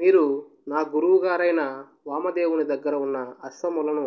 మీరు నా గురువుగారైన వామదేవుని దగ్గర ఉన్న అశ్వములను